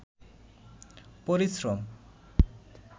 পরিশ্রম